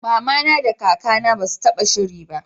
mamana da kaka na basu taba shiri ba